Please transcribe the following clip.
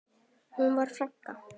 Hún var frænka.